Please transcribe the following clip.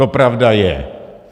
To pravda je.